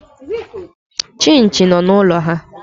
Chinchi nọ n'ụlọ ha.